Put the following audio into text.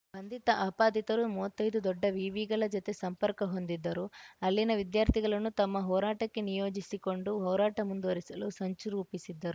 ಬಂಧಿತ ಆಪಾದಿತರು ಮುವತ್ತೈದು ದೊಡ್ಡ ವಿವಿಗಳ ಜತೆ ಸಂಪರ್ಕ ಹೊಂದಿದ್ದರು ಅಲ್ಲಿನ ವಿದ್ಯಾರ್ಥಿಗಳನ್ನು ತಮ್ಮ ಹೋರಾಟಕ್ಕೆ ನಿಯೋಜಿಸಿಕೊಂಡು ಹೋರಾಟ ಮುಂದುವರಿಸಲು ಸಂಚು ರೂಪಿಸಿದ್ದರು